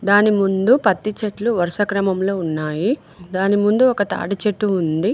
దాని ముందు పత్తి చెట్లు వరుస క్రమంలో ఉన్నాయి దాని ముందు ఒక తాడిచెట్టు ఉంది.